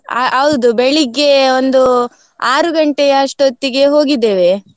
ಹ ಹೌದು ಬೆಳ್ಳಿಗೆ ಒಂದು ಆರು ಗಂಟೆಯ ಅಷ್ಟು ಹೊತ್ತಿಗೆ ಹೋಗಿದ್ದೇವೆ.